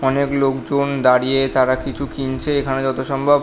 অনেক লোকজন দাঁড়িয়ে তারা কিছু কিনছে এখানে যত সম্ভব --